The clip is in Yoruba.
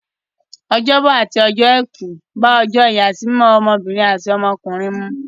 Ọjọ́bọ̀ àti ọjọ́ Àìkú bá ìyàsímímọ́ ọmọbìnrin àti ọmọkùnrin mu.